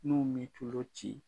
N'u min tulo ci